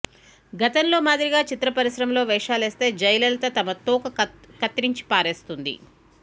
గతంలో మాదిరిగా చిత్ర పరిశ్రమలో వేషాలేస్తే జయలలిత తమ తోక కత్తిరించి పారేస్తుంది